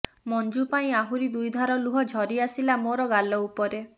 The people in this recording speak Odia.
ମଞ୍ଜୁ ପାଇଁ ଆହୁରି ଦୁଇଧାର ଲୁହ ଝରି ଆସିଲା ମୋର ଗାଲ ଉପରେ